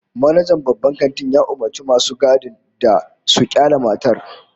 Manajan babban kantin ya umurci masu gadin da su kyale matar